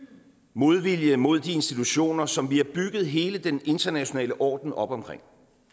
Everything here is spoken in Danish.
modvilje mod de institutioner som vi har bygget hele den internationale orden op omkring